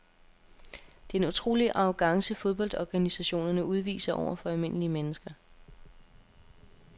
Det er en utrolig arrogance fodboldorganisationerne udviser over for almindelige mennesker.